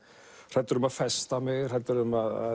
hræddur um að festa mig hræddur um að